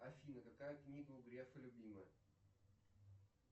афина какая книга у грефа любимая